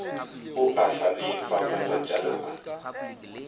o a hlalefa matšatšana a